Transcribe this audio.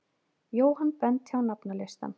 Jóhann benti á nafnalistann.